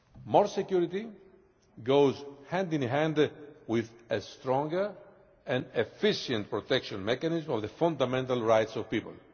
More security goes hand in hand with a stronger and efficient protection mechanism of the fundamental rights of people.